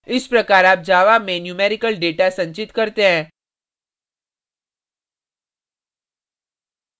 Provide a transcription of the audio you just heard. इस प्रकार आप java में numerical data संचित करते हैं